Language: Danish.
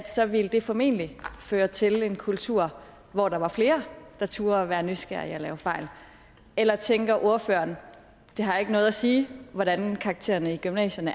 så ville det formentlig føre til en kultur hvor der var flere der turde være nysgerrige og lave fejl eller tænker ordføreren det har ikke noget at sige hvordan karaktererne i gymnasierne